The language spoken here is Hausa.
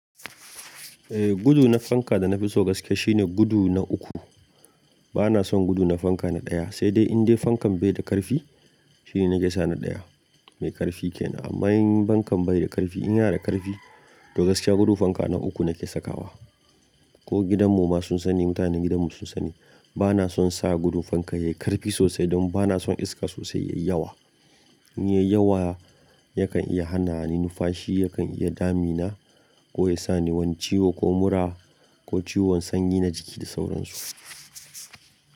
Eh gudu na fanka da na fi so gaske shine gudu na uku. Bana son gudu na fanka na ɗaya, sai dai in dai fankan bai da ƙarfi shine na ke sa na ɗaya mai ƙarfi kenan. Amma in fankan bai da ƙarfi in yana da ƙarfi to gaskiya gudu fanka na uku na ke sakawa. Ko gidan mu ma sun sani mutanen gidan mu sun sani bana son sa gudun fanka yayi ƙarfi sosai don bana son iska sosai yayi yawa. In yayi yawa yakan iya hana ni nufashi, yakan iya damina ko ya sa ni wani ciwo ko mura ko ciwon sanyi na jiki da sauransu.